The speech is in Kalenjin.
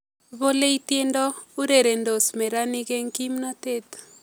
Bolei tiendo urerendos nenarik eng kimnatet